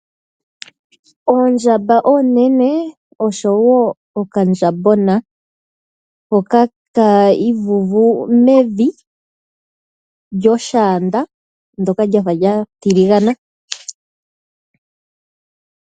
Oondjamba oonene oshowo okandjambona hoka tadhi galangata mevi lyoshaanda lyafa lya tiligana, shino ohashi dhi ningi opo dhi ikwale mpoka tadhi nyu.